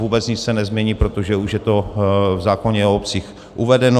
Vůbec nic se nezmění, protože už je to v zákoně o obcích uvedeno.